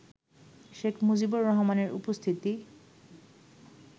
শেখ মুজিবুর রহমানের উপস্থিতি